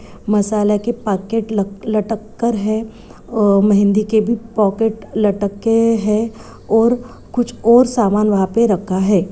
मसाला के पैकेट लक लटक कर है अ मेंहदी के भी पॉकेट लटके के हैं और कुछ और सामान वहाँ पे रखा है।